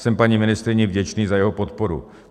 Jsem paní ministryni vděčný za jeho podporu.